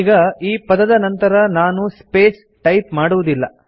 ಈಗ ಈ ಪದದ ನಂತರ ನಾನು ಸ್ಪೇಸ್ ಟೈಪ್ ಮಾಡುವುದಿಲ್ಲ